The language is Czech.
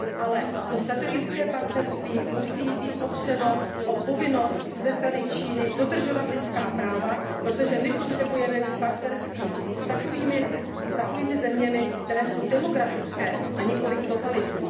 Ale to strategické partnerství musí být opřeno o povinnost ze strany Číny dodržovat lidská práva, protože my potřebujeme mít partnerství s takovými zeměmi, které jsou demokratické, a nikoliv totalitní.